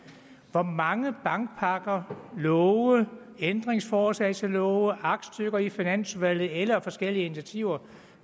hvor mange bankpakker love ændringsforslag til love aktstykker i finansudvalget eller forskellige initiativer